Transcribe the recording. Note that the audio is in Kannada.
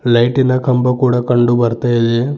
ಲೈಟಿನ ಕಂಬ ಕೂಡ ಕಂಡು ಬರ್ತಾ ಇದೆ.